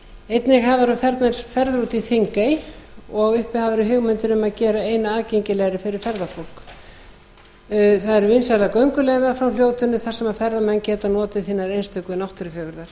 einnig hafa verið farnar ferðir út í þingey og uppi hafa verið hugmyndir um að gera eyna aðgengilegri fyrir ferðafólk það eru vinsælar gönguleiðir frá fljótinu þar sem ferðamenn geta notið hinnar einstöku náttúrufegurðar